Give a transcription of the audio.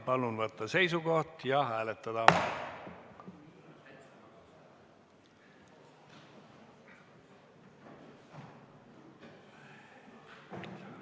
Palun võtta seisukoht ja hääletada!